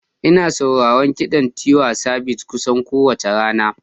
Ina sauraron kiɗan Tiwa Savage kusan kowace rana.